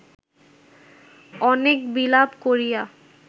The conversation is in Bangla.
অনেক বিলাপ করিয়া